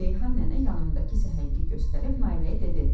Reyhan nənə yanındakı səhəngi göstərib Nailəyə dedi: